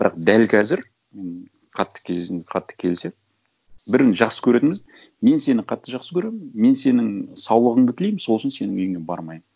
бірақ дәл қазір м қатты қатты келісемін бірін жақсы көретініміз мен сені қатты жақсы көремін мен сенің саулығыңды тілеймін сол үшін сенің үйіңе бармаймын